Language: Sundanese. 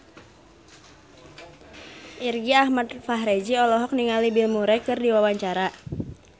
Irgi Ahmad Fahrezi olohok ningali Bill Murray keur diwawancara